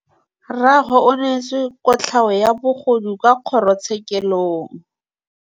Rragwe o neetswe kotlhaô ya bogodu kwa kgoro tshêkêlông.